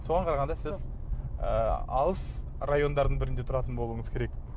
соған қарағанда сіз ы алыс райондардың бірінде тұратын болуыңыз керек